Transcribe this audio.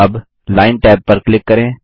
अबLine tab पर click करें